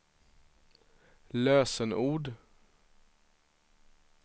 lösenord